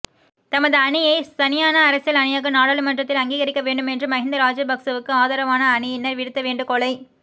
தமது அணியை தனியான அரசியல் அணியாக நாடாளுமன்றத்தில் அங்கீகரிக்கவேண்டும் என்று மஹிந்த ராஜபக்சவுக்கு ஆதரவான அணியினர் விடுத்தவேண்டுகோளை